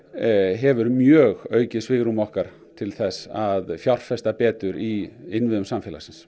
hefur mjög aukið svigrúm okkar til þess að fjárfesta betur í innviðum samfélagsins